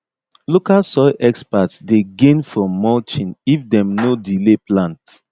local soil experts dey gain from mulching if dem no delay plant